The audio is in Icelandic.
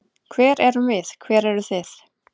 Hver erum við, hver eru þið?